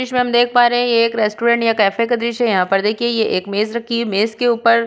दृश्य में हम देख पा रहे हैं यह एक रेस्टोरेंट या कैफे का दृश्य है यहाँ पर देखिए यह एक मेज रखी है। मेज के ऊपर --